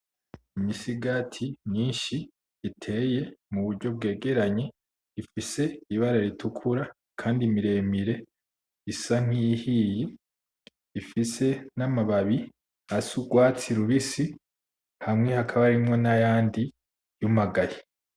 Imisigati myinshi iteye muburyo bwegeranye ifise ibara ritukura kandi miremire isa nkiyihiye ifise namababi asa ugwatsi rubisi hamwe hakaba harimwo nayandi yumagaye